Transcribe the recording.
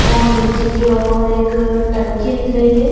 और नीचे की ओर एक टंकी दिख रहीं हैं।